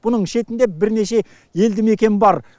бұның шетінде бірнеше елді мекен бар